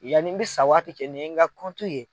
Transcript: Yanni i bɛ sa waati cɛ ni ye n ka kɔntu ye.